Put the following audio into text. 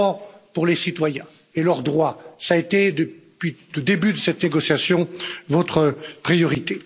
D'abord, les citoyens et leurs droits ont été depuis le début de cette négociation votre priorité.